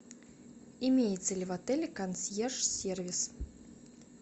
имеется ли в отеле консьерж сервис